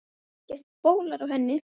Ekkert bólar á henni.